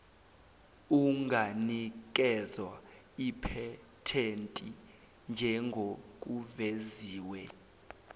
unganikezwa iphethenti njengokuveziwe